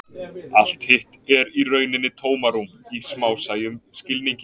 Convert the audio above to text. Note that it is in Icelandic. allt hitt er í rauninni tómarúm í smásæjum skilningi